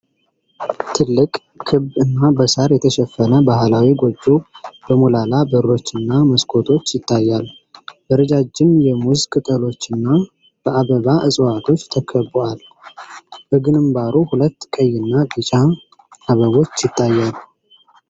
ትልቅ፣ ክብ እና በሳር የተሸፈነ ባህላዊ ጎጆ በሞላላ በሮችና መስኮቶች ይታያል። በረጃጅም የሙዝ ቅጠሎችና በአበባ እጽዋቶች ተከብቦአል፤ በግንባሩ ሁለት ቀይና ቢጫ አበቦች ይታያሉ።